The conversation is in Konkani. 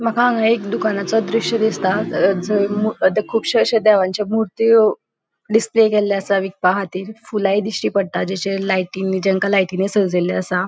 मका हान्गा एक दुकानाचो दृश्य दिसता द श खुपशे अशे देवाची मुर्त्यो डिस्प्ले केल्लेले आसा विकपा खातीर फुलाय दिष्टी पडटा द श लाइटिंग जेंका लाइटिंनि सजेल्ले आसा.